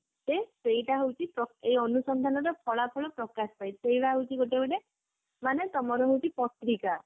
ଯେ ସେଇଟା ହଉଛି ଏଇ ଅନୁସନ୍ଧାନ ର ଫଳାଫଳ ପ୍ରକାଶ ପାଇଁ ସେଇଟା ହଉଛି ଗୋଟେ ଗୋଟେ ମାନେ ତମର ହଉଛି ପତ୍ରିକା